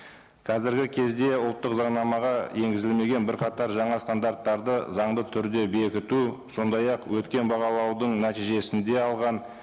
қазіргі кезде ұлттық заңнамаға енгізілмеген бірқатар жаңа стандарттарды заңды түрде бекіту сондай ақ өткен бағалаудың нәтижесінде алған